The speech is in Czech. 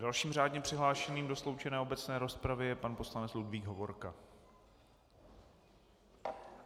Dalším řádně přihlášeným do sloučené obecné rozpravy je pan poslanec Ludvík Hovorka.